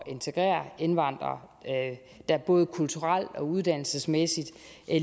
integrere indvandrere der både kulturelt og uddannelsesmæssigt